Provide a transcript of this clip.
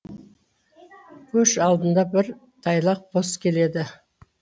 көш алдында бір тайлақ бос келеді